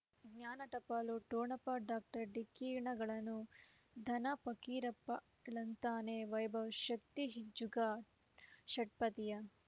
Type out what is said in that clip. ಜ್ಞಾನ ಟಪಾಲು ಠೊಣಪ ಡಾಕ್ಟರ್ ಢಿಕ್ಕಿ ಣಗಳನು ಧನ ಫಕೀರಪ್ಪ ಳಂತಾನೆ ವೈಭವ್ ಶಕ್ತಿ ಜುಗಾ ಷಟ್ಪದಿಯ